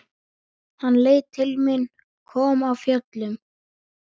Hann leit til mín, kom af fjöllum.